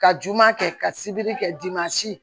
Ka juguman kɛ ka sibiri kɛ